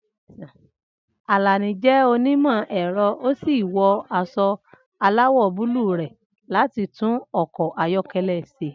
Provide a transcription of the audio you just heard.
Alani jẹ́ onímọ̀ ẹ̀rọ ó sì wọ aṣọ aláwọ̀ búlúù rẹ̀ láti tún ọkọ̀ ayọ́kẹ́lẹ́ ṣe.